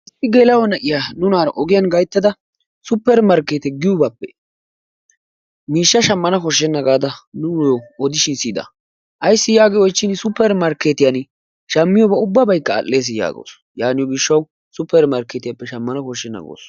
Issi geela'o na'iya nunaara ogiyan gayttada suppeer markkeete giyogaappe miishsha shammana bessenna gaada nuuyyo odishin siyida. Ayssi yaagin suppeer markkeetiyani shammiyobay ubbaykka al"eesi yaagawusu. Yaaniyo gishshawu suppeer markkeetiyappe shammanawu koshshenna gawusu.